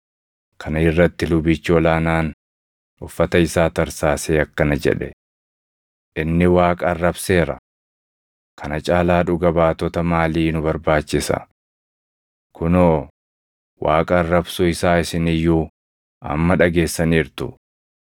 Kana irratti lubichi ol aanaan uffata isaa tarsaasee akkana jedhe; “Inni Waaqa arrabseera! Kana caalaa dhuga baatota maalii nu barbaachisa? Kunoo, Waaqa arrabsuu isaa isin iyyuu amma dhageessaniirtu.